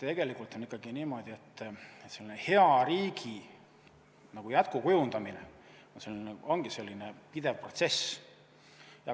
Tegelikult on ikkagi niimoodi, et hea riigi jätkukujundamine ongi pidev protsess.